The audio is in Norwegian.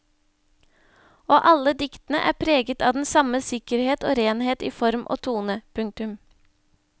Og alle diktene er preget av den samme sikkerhet og renhet i form og tone. punktum